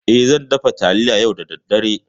E, zan dafa taliya yau da daddare.